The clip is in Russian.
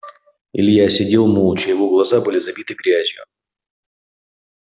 илья сидел молча его глаза были забиты грязью